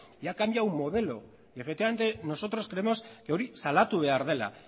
y ha cambiado el modelo y efectivamente nosotros creemos que hori salatu behar dela